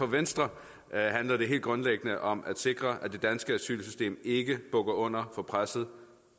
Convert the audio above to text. venstre handler det helt grundlæggende om at sikre at det danske asylsystem ikke bukker under for presset